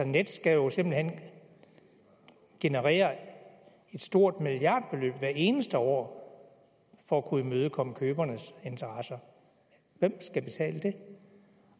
nets skal jo simpelt hen generere et stort milliardbeløb hvert eneste år for at kunne imødekomme købernes interesser hvem skal betale det